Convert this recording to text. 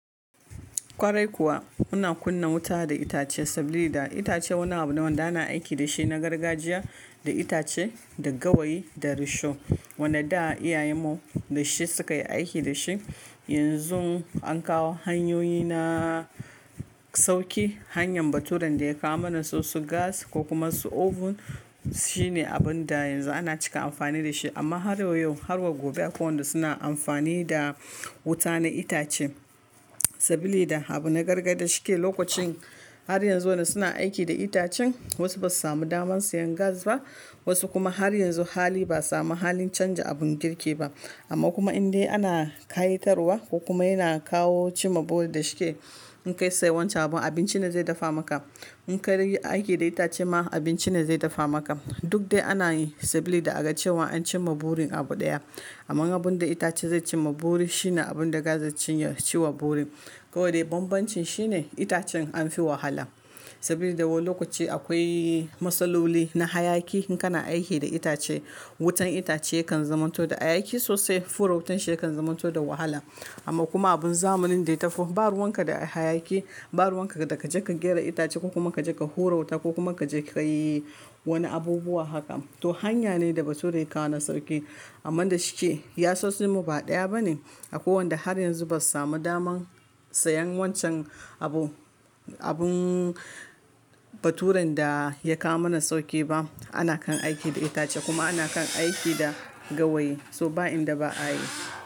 Kwarai kuwa muna kunna wuta da itace saboda itace wani abu da wanda na aiki da shi na gargajiya, da itace da gawayi da risho. Wanda da iyayen mu da shi suka yi aiki da shi. Yanzu an kawo hanyoyi na sauki. Hanyan baturan da ya kawo mana su su gas ko kuma su oven shine abun da yanzu ana cika amfani da shi. Amma harwa yau har wa gobe akwai wanda suna amfani da wuta na itace. Saboda da abu na gargada shi ke lokacin har yanzu suna aiki da itacen wasu ba su samu daman sayan gas ba wasu kuma har yanzu hali ba'a samu halin canja abun girki ba. Amma kuma indai ana kayi tarwa ko kuma yana kawo cimma buri da shi ke in kai sai wancan abun abinci ne zai dafa maka. In ka rage aiki da itace ma abinci ne zai dafa maka. Duk dai ana yi saboda da a ga cewa an cimma burin abu ɗaya. Amman abun da itace zai cimma buri shine abun da gas zai ciyar ciwa buri. Kawai dai bambancin shine itacen an fi wahala. Saboda da wa lokaci akwai matsaloli na hayaki in kana aiki da itace. Wutan itace kan zamanto da hayaki sosai fura wutan shi yakan zamanto da wahala. Amma kuma abun zamanin daya tafo ba ruwan ka da hayaki ba ruwan ka daga kaje kagyara itace ko kuma ka je ka horawuta ko kuma ka je ka yi wani abubuwa haka. To hanya ne da baturan ya kawo na sauki. Amma da shi ke yasasin mu ba ɗaya bane. Akwai wanda har yanzu ba su samu daman sayan wancan abu. Abun baturan da ya kawo mana sauki ba. Ana kan aiki da itace kuma ana kan aiki da gawayi. To ba inda ba a yi.